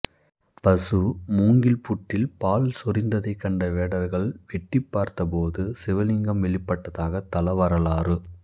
பசு மூங்கில் புற்றில் பால் சொரிந்ததைக் கண்ட வேடர்கள் வெட்டிப்பார்த்தபோது சிவலிங்கம் வெளிப்பட்டதாக தலவரலாறு